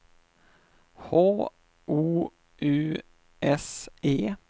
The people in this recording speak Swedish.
H O U S E